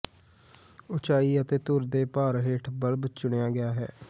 ਉਚਾਈ ਅਤੇ ਧੁਰ ਦੇ ਭਾਰ ਹੇਠ ਬੱਲਬ ਚੁਣਿਆ ਗਿਆ ਹੈ